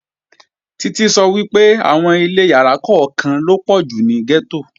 Títí sọ pé ilé oníyàrá kan lọ̀pọ̀ àwọn ilé tó wà ní gẹ́tò